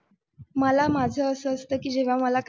मला माझं असं असतं की जेव्हा काय,